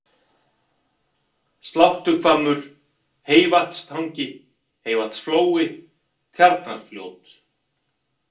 Sláttuhvammur, Heyvatnstangi, heyvatnsflói, Tjarnarfljót